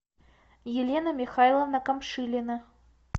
елена михайловна камшилина